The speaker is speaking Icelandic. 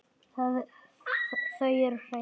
Þau eru hrein.